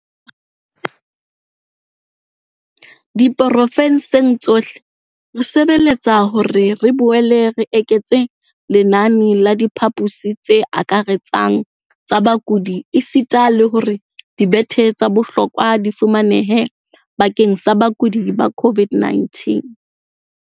Diprovenseng tsohle, re sebeletsa hore re boele re eketse lenane la diphaposi tse akaretsang tsa bakudi esita le hore dibethe tsa bohlokwa di fumanehe bakeng sa bakudi ba COVID-19.